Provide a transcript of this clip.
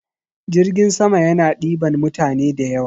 Jirgin sama yana ɗiban mutane da yawa.